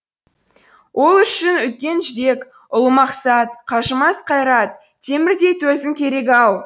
ол үшін үлкен жүрек ұлымақсат қажымас қайрат темірдей төзім керек ау